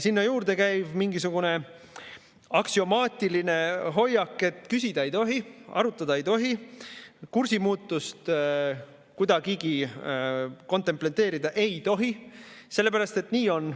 Sinna juurde käib mingisugune aksiomaatiline hoiak, et küsida ei tohi, arutada ei tohi, kursimuutust kuidagigi kontempleerida ei tohi, sellepärast et nii on.